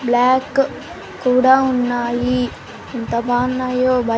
Black కూడా ఉన్నాయి ఎంత బాన్నాయో .